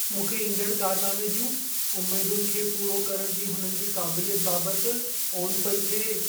मूंखे ईंदड़ कारनामे जियूं उमेदुनि खे पूरो करण जी हुननिजी क़ाबिलियत बाबति ओन पई थिए।